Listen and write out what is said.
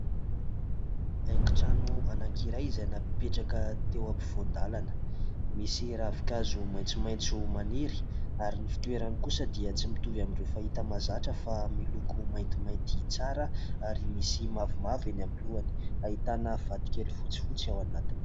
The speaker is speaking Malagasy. Haingon-trano anankiray izay napetraka teo ampovoan-dalana, misy ravin-kazo maitsomaitso maniry ; ary ny fitoerany kosa dia tsy mitovy amin'ireo fahita mahazatra, fa miloko maintimainty tsara, ary misy mavomavo eny amin'ny lohany. Ahitana vatokely fotsifotsy ao anatiny.